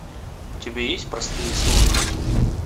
у тебя есть простые сложности